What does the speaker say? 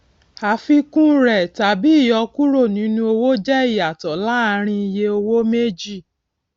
àfikún rẹ tàbí ìyọkúrò nínú owó jẹ ìyàtọ láàárín iye owó méjì